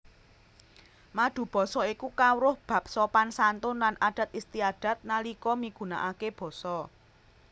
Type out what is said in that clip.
Madubasa iku kawruh bab sopan santun lan adat istiadat nalika migunakaké basa